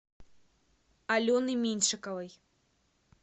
алены меньшиковой